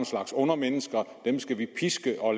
slags undermennesker og dem skal vi piske og